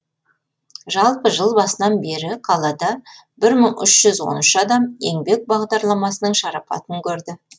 жалпы жыл басынан бері қалада бір мың үш жүз он үш адам еңбек бағдарламасының шарапатын көрді